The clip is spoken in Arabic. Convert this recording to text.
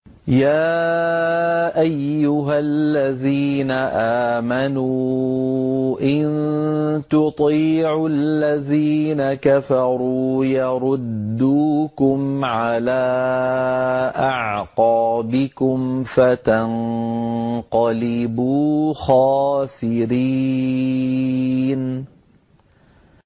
يَا أَيُّهَا الَّذِينَ آمَنُوا إِن تُطِيعُوا الَّذِينَ كَفَرُوا يَرُدُّوكُمْ عَلَىٰ أَعْقَابِكُمْ فَتَنقَلِبُوا خَاسِرِينَ